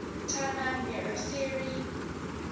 tanah merah ferry